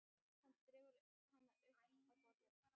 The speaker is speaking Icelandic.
Hann dregur hana upp að borðinu.